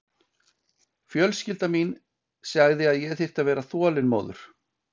Fjölskylda mín sagði að ég þyrfti að vera þolinmóður.